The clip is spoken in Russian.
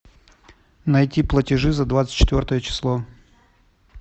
найти платежи за двадцать четвертое число